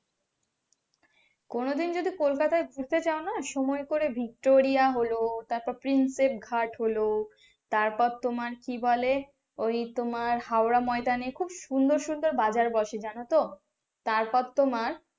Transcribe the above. কোনদিন যদি কলকাতা যেতে চাও না সময় করে ভিক্টোরিয়া হলো তারপর প্রিন্সেপ ঘাট হলো তারপর তোমার কি বলে ওই হাওড়া ময়দান এ খুব সুন্দর সুন্দর বাজার বসার জানতো, তারপর তোমার।